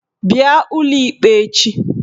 Bịa ụlọ ikpe echi!